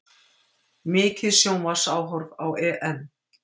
Mikið sjónvarpsáhorf á EM